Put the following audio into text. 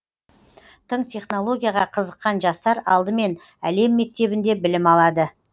тың технологияға қызыққан жастар алдымен әлем мектебінде білім алады